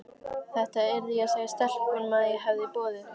Þetta yrði ég að segja stelpunum, að ég hefði boðið